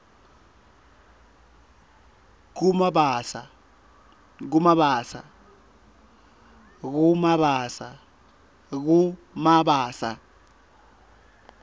kumabasa